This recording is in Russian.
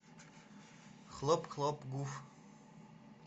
хлоп хлоп гуф